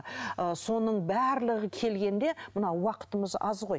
ы соның барлығы келгенде мынау уақытымыз аз ғой